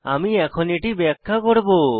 আমি এখন এটি ব্যাখ্যা করব